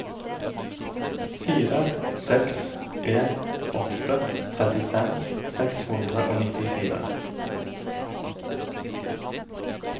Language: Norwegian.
fire seks en åtte trettifem seks hundre og nittifire